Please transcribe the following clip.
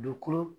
Dugukolo